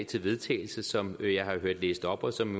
til vedtagelse som jeg har hørt læst op og som